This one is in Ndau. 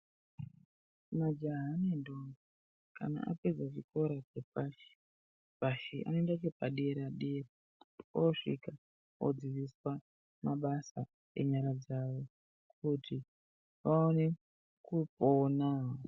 Majaha ne ndombi kana apedza chikora che pashi pashi anoenda chepa dera dera osvika odzidziswa mabasa enyara dzawo kuti vaone kupona.